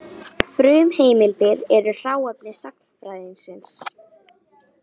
Frumheimildir eru hráefni sagnfræðingsins.